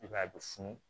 I b'a ye a bɛ funu